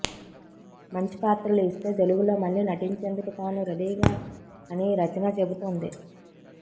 మంచి పాత్రలు ఇస్తే తెలుగులో మళ్లీ నటించేందుకు తాను రెడీ అని రచన చెబుతోంది